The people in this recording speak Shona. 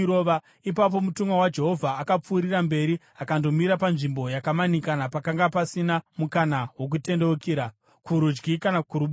Ipapo mutumwa waJehovha akapfuurira mberi akandomira panzvimbo yakamanikana pakanga pasina mukana wokutendeukira kurudyi kana kuruboshwe.